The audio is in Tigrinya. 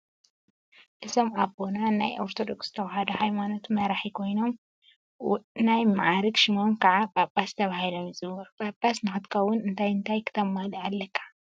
አዞም አቦና ናይ ኦርቶዶክስ ተዋህዶ ሃይማኖት መራሒ ኮይኖም ናይ መዓርግ ሽሞም ከዓ ጳጳስ ተባሂሎም ይፅውዑ። ጳጳስ ንኸትከውን እንታይ እንታይ ክተማልእ አለካ?